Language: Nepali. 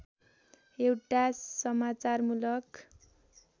एउटा समाचारमूलक